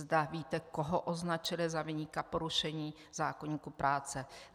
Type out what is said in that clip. Zda víte, koho označily za viníka porušení zákoníku práce.